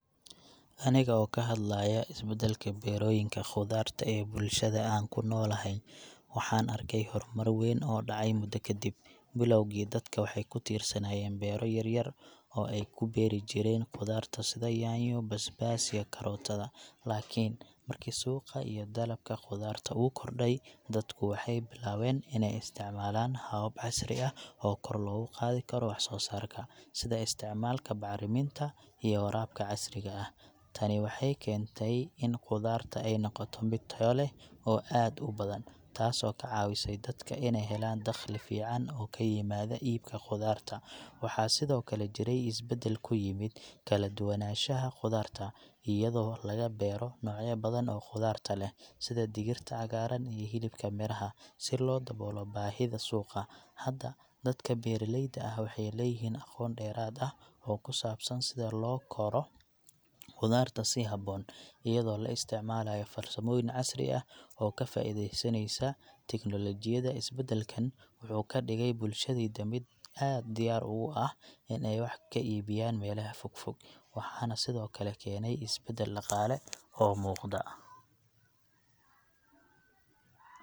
Aniga oo ka hadlayo isbeddelka beerooyinka khudaarta ee bulshada aan ku noolahay, waxaan arkay horumar weyn oo dhacay muddo ka dib. Bilowgii, dadka waxay ku tiirsanaayeen beero yaryar oo ay ku beeri jireen khudaarta sida yaanyo, basbaas, iyo karootada. Laakiin markii suuqa iyo dalabka khudaarta uu kordhay, dadku waxay bilaabeen inay isticmaalaan habab casri ah oo kor loogu qaado karo wax-soo-saarka, sida isticmaalka bacriminta iyo waraabka casriga ah. Tani waxay keentay in khudaarta ay noqoto mid tayo leh oo aad u badan, taas oo ka caawisay dadka inay helaan dakhli fiican oo ka yimaada iibka khudaarta. Waxaa sidoo kale jiray isbeddel ku yimid kala duwanaanshaha khudaarta, iyadoo laga beero noocyo badan oo khudaarta ah, sida digirta cagaaran iyo hilibka miraha, si loo daboolo baahida suuqa. Hadda, dadka beeralayda ah waxay leeyihiin aqoon dheeraad ah oo ku saabsan sida loo koro khudaarta si habboon, iyadoo la isticmaalayo farsamooyin casri ah oo ka faa'iidaysanaysa tignoolajiyada. Isbeddelkan wuxuu ka dhigay bulshadayda mid u diyaar ugu ah in ay wax ka iibiyaan meelaha fogfog, waxaana sidoo kale keenay isbeddel dhaqaale oo muuqda.